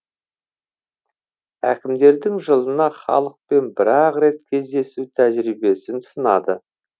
әкімдердің жылына халықпен бір ақ рет кездесу тәжірибесін сынады